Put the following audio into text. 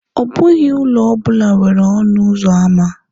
Ọ bụghị ụlọ ọ bụla nwere ọnụ ụzọ ámá.